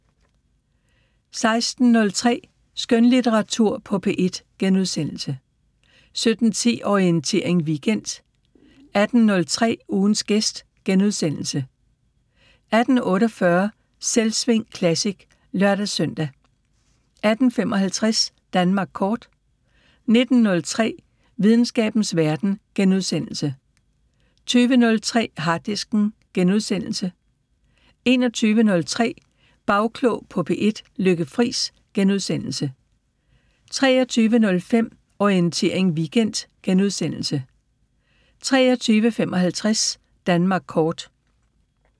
16:03: Skønlitteratur på P1 * 17:10: Orientering Weekend 18:03: Ugens gæst * 18:48: Selvsving Classic (lør-søn) 18:55: Danmark Kort 19:03: Videnskabens Verden * 20:03: Harddisken * 21:03: Bagklog på P1: Lykke Friis * 23:05: Orientering Weekend * 23:55: Danmark Kort